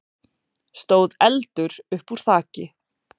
stóð eldur uppúr þaki.